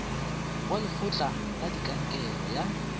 wa lekgotla la kankere ya